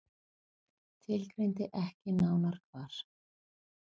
Tilgreindi ekki nánar hvar.